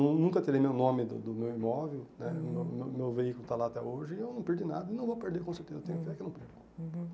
Nun nunca terei meu nome do do meu imóvel né, meu meu meu veículo está lá até hoje e eu não perdi nada, e não vou perder com certeza, eu tenho fé que eu não perco.